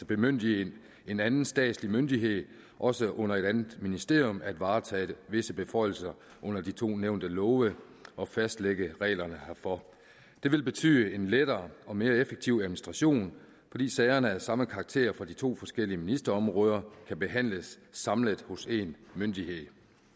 bemyndige en anden statslig myndighed også under et andet ministerium til at varetage visse beføjelser under de to nævnte love og fastlægge reglerne herfor det vil betyde en lettere og mere effektiv administration fordi sagerne af samme karakter fra de to forskellige ministerområder kan behandles samlet hos én myndighed